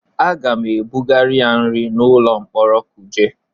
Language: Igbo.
Aga m ebugara ya nri n'ụlọ mkpọrọ Kuje.